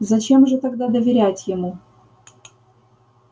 зачем же тогда доверять ему